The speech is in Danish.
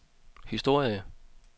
historie